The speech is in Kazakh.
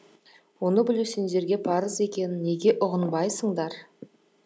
оны білу сендерге парыз екенін неге ұғынбайсыңдар